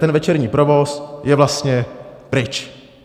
Ten večerní provoz je vlastně pryč.